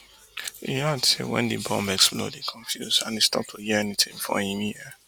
e add say wen di bomb explode e confuse and e stop to hear anytin for im ear